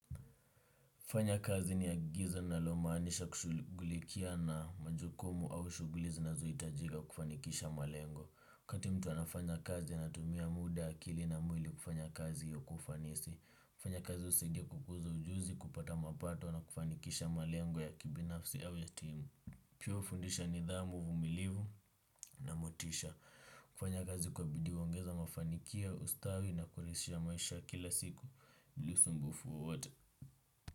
Kufanya kazi ni agizo ninalomanisha kushugulikia na majukumu au shuguli zinazoitajika kufanikisha malengo. Wakati mtu anafanya kazi anatumia muda akili na mwili kufanya kazi kwa ufanisi. Kufanya kazi usaidia kukuza ujuzi, kupata mapato na kufanikisha malengo ya kibinafsi au ya timu. Pia ufundisha nidhamu, uvumilivu na motisha. Kufanya kazi kwa bidii huongeza mafanikio ustawi na kuraisisha maisha ya kila siku. Bila usumbufu wowote.